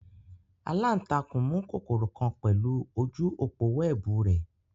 Alantakun mu kokoro kan pẹlu oju opo wẹẹbu rẹ